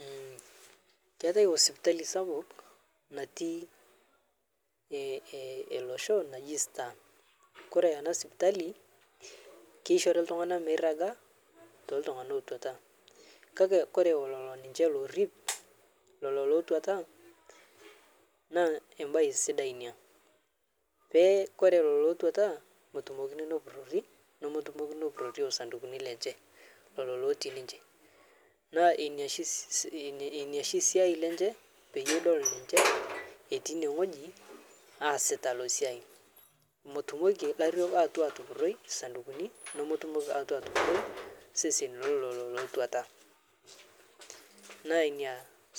Mmh keatai hospitali sapuk natii elosho naji star, kore ana spitali keishore tung'ana meiraga tootung'ana ootuata kake kore lolonishe lorip lolo lotuata naa ebai sidai nia, pee kore lolo lotuata motumokin nopurori nomotumokin nopurori lolo sandukuni lenche lolo lotii ninche, naa niashi siyai lenche peyie edol ninche etii nieng'oji asita nia siyai motumoki lariok ayetu atupuroi sandukuni nomotumoki ayetu atupuroi seseni lolo lotuata naa nia